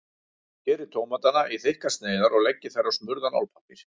Skerið tómatana í þykkar sneiðar og leggið þær á smurðan álpappír.